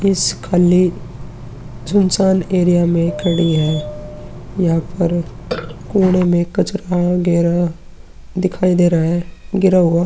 इस खाली सुनसान एरिया में खड़ी है। यहां पर कोने में कचरा गहरा दिखाई दे रहा है गिर हुआ।